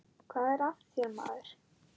Hvað er að þér, maður?